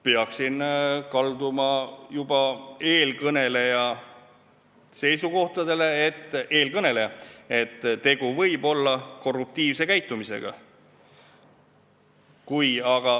Peaksin kalduma juba eelkõneleja seisukohtade poole, et tegu võib olla korruptiivse käitumisega.